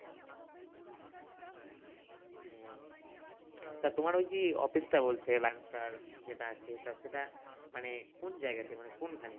তা তোমার ঐযে office টা বলছে যেটা আছে তা সেটা মানে কোন জায়গা তে মানে কোন খানে?